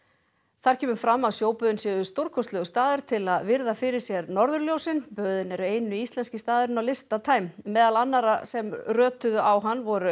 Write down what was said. þar kemur fram að sjóböðin séu stórkostlegur staður til að virða fyrir sér norðurljósin böðin eru eini íslenski staðurinn á lista time meðal annarra sem rötuðu á hann voru